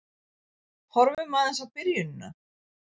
Horfum aðeins á byrjunina.